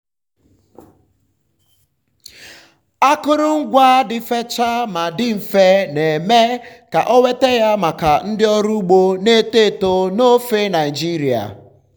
akụrụngwa dị fechaa ma dị mfe na-eme ka ọ nweta ya maka ndị ọrụ ugbo na-eto eto n'ofe nigeria.